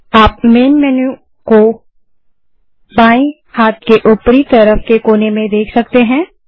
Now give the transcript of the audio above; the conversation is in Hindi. आप मैन मेन्यू को बाएँ हाथ के ऊपरी तरफ के कोने में देख सकते हैं